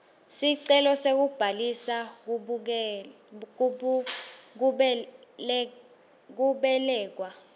sicelo sekubhalisa kubelekwa